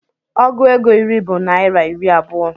Ọgụ ego iri bụ naira iri abuo